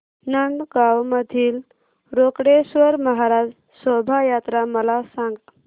नांदगाव मधील रोकडेश्वर महाराज शोभा यात्रा मला सांग